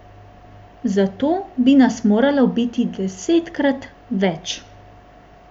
Za to bi nas moralo biti desetkrat več.